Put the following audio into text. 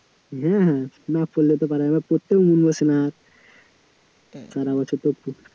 হ্যাঁ হ্যাঁ না পড়লে তো আর পারা যাবে না, পড়তেও মন বসে না সারা বছর তো আর